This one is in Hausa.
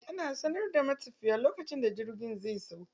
Ana sanar da matafiya lokacin da jirgin zai sauka.